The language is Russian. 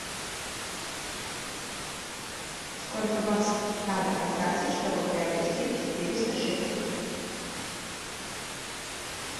сколько баксов надо потратить чтобы приобрести четыреста шекелей